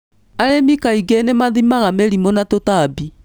Arĩmi kaingĩ nĩmathimaga mĩrimũ na tũtambi.